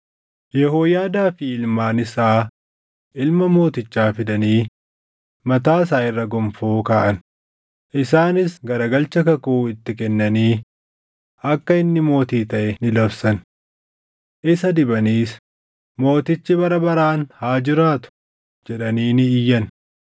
Yehooyaadaa fi ilmaan isaa ilma mootichaa fidanii mataa isaa irra gonfoo kaaʼan; isaanis garagalcha kakuu itti kennanii akka inni mootii taʼe ni labsan. Isa dibaniis, “Mootichi bara baraan haa jiraatu!” jedhanii ni iyyan.